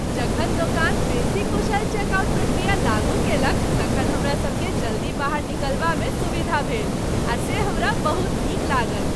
जखन दोकान बेसी कुशल चेकआउट प्रक्रिया लागू कयलक तखन हमरासभकेँ जल्दी बाहर निकलबामे सुविधा भेल, आ से हमरा बहुत नीक लागल।